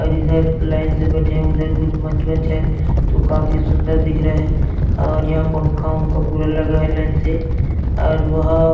और इधर लाइन से बैठे हुए हैं उधर कुछ मंच वंच है तो काफी सुन्दर दिख रहे हैं और यहां पंखा वंखा पूरा लगा है लाइन से और वहां--